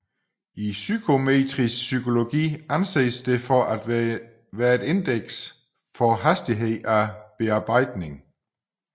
I psykometrisk psykologi anses det for at være et indeks for hastighed af bearbejdning